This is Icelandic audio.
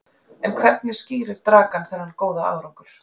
En hvernig skýrir Dragan þennan góða árangur?